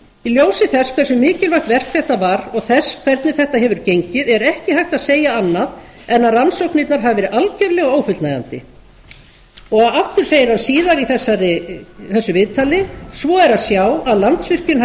í ljósi þess hversu mikilvægt verk þetta var og þess hvernig þetta hefur gengið er ekki hægt að segja annað en að rannsóknirnar hafi verið algjörlega ófullnægjandi aftur segir hann síðar í þessu viðtali svo er að sjá að landsvirkjun hafi